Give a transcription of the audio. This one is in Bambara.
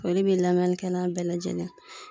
Foli be lamɛnnikɛla bɛɛ lajɛlen ye.